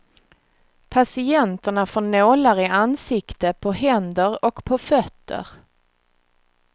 Patienterna får nålar i ansikte på händer och på fötter.